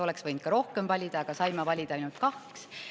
Oleks võinud ka rohkem valida, aga saime valida ainult kaks.